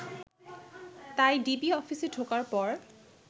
তাই ডিবি অফিসে ঢোকার পর